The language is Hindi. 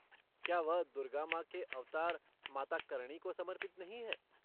क्या वह दुर्गा माँ के अवतार माता करणी को समर्पित नहीं है?